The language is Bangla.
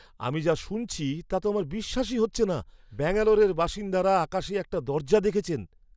আমি যা শুনছি তা তো আমার বিশ্বাসই হচ্ছে না! ব্যাঙ্গালোরের বাসিন্দারা আকাশে একটা দরজা দেখেছেন!